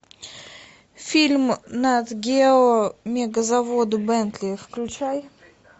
фильм нат гео мегазаводы бентли включай